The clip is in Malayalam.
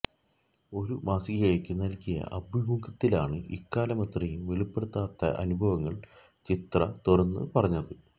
ഒരു മാസികയ്ക്ക് നല്കിയ അഭിമുഖത്തിലാണ് ഇക്കാലമത്രയും വെളിപ്പെടുത്താത്ത അനുഭവങ്ങള് ചിത്ര തുറന്നു പറഞ്ഞത്